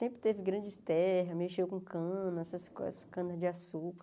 Sempre teve grandes terras, mexeu com cana, essas coisas cana de açúcar.